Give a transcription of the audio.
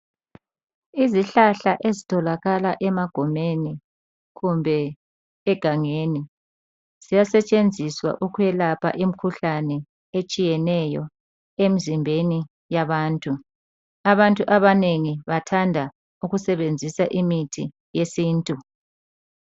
Izihlahla ezitholakala emagumeni kumbe egangeni ziyasetshenziswa ukwelapha imkhuhlane etshiyeneyo emzimbeni yabantu, abantu abanengi bathanda ukusebenzisa imithi yesintu.